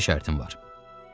Bircə şərtim var.